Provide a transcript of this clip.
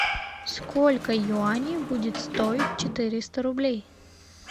сколько юаней будет стоить четыреста рублей